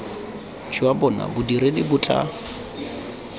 jwa bona bodiredi bo tla